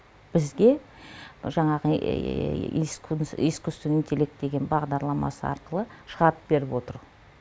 бізге жаңағы искуственный интеллект деген бағдарламасы арқылы шығарып беріп отыр